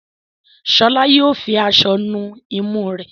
Shola Yóò fí aṣọ nù imú re.